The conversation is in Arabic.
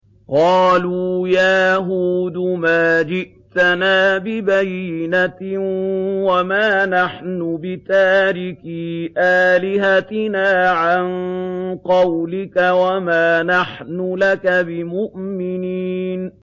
قَالُوا يَا هُودُ مَا جِئْتَنَا بِبَيِّنَةٍ وَمَا نَحْنُ بِتَارِكِي آلِهَتِنَا عَن قَوْلِكَ وَمَا نَحْنُ لَكَ بِمُؤْمِنِينَ